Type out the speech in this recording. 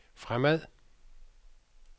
fremad